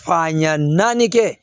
Fan ɲa naani kɛ